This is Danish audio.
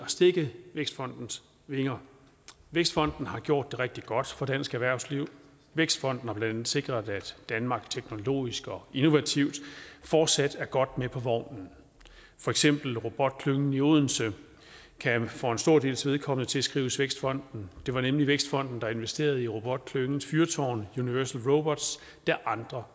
stække vækstfondens vinger vækstfonden har gjort det rigtig godt for dansk erhvervsliv vækstfonden har blandt andet sikret at danmark teknologisk og innovativt fortsat er godt med på vognen for eksempel kan robotklyngen i odense for en stor dels vedkommende tilskrives vækstfonden det var nemlig vækstfonden der investerede i robotklyngens fyrtårn universal robots da andre